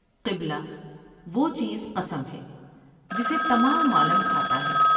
قبلہ "وہ چیز قسم ہے جسے تمام عالم کھا تا ہے ۔